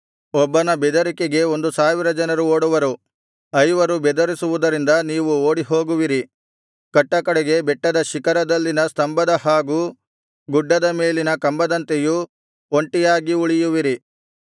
ಒಬ್ಬನ ಬೆದರಿಕೆಗೆ ಒಂದು ಸಾವಿರ ಜನರು ಓಡುವರು ಐವರು ಬೆದರಿಸುವುದರಿಂದ ನೀವು ಓಡಿಹೋಗುವಿರಿ ಕಟ್ಟಕಡೆಗೆ ಬೆಟ್ಟದ ಶಿಖರದಲ್ಲಿನ ಸ್ತಂಭದ ಹಾಗೂ ಗುಡ್ಡದ ಮೇಲಿನ ಕಂಬದಂತೆಯೂ ಒಂಟಿಯಾಗಿ ಉಳಿಯುವಿರಿ